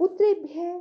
पु॒त्रेभ्यः॑